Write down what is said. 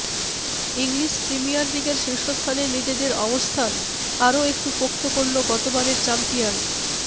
English Premier লিগের শীর্ষস্থানে নিজেদের অবস্থান আর একটু পোক্ত করল গতবারের চ্যাম্পিয়ন